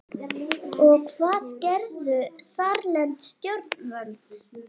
Og hvað gerðu þarlend stjórnvöld?